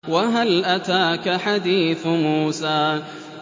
وَهَلْ أَتَاكَ حَدِيثُ مُوسَىٰ